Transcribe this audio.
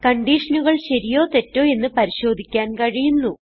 കൺഡിഷനുകൾ ശരിയോ തെറ്റോ എന്ന് പരിശോധിക്കാൻ കഴിയുന്നു